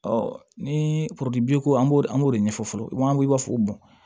ni bi ko an b'o an b'o de ɲɛfɔ fɔlɔ an b'a fɔ